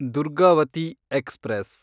Durgavati express